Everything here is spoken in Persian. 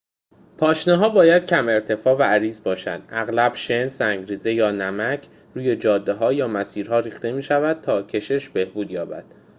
پاشنه‌ها باید کم ارتفاع و عریض باشند. اغلب شن، سنگ‌ریزه یا نمک کلرید کلسیم روی جاده‌ها یا مسیرها ریخته می‌شود تا کشش بهبود یابد